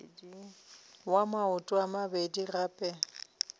wa maoto a mabedi gape